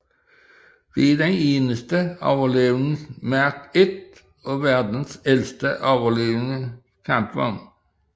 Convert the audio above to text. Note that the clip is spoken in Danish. Det er den eneste overlevende Mark I og verdens ældste overlevende kampvogn